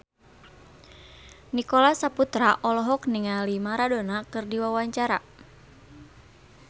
Nicholas Saputra olohok ningali Maradona keur diwawancara